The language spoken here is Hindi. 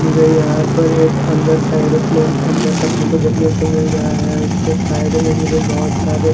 मुझे यहां पर एक अंदर एरोप्लेन के अंदर तक फोटो देखने को मिल रहा है उसके साइड में मुझे बहुत सारे--